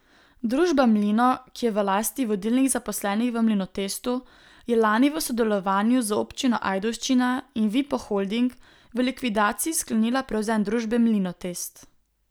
Družba Mlino, ki je v lasti vodilnih zaposlenih v Mlinotestu, je lani v sodelovanju z Občino Ajdovščina in Vipo Holding v likvidaciji sklenila prevzem družbe Mlinotest.